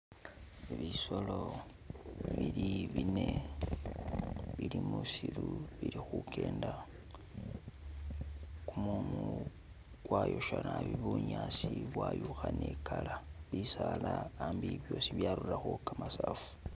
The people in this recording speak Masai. Bisolo bili biine , bili musiiru bili khukenda , kumumu kwayosha naabi bunyaasi bwayukha ne i'color , bisaala ambi byosi byarurakho kamasaafu.